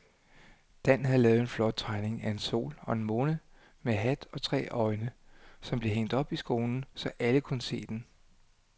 Dan havde lavet en flot tegning af en sol og en måne med hat og tre øjne, som blev hængt op i skolen, så alle kunne se den.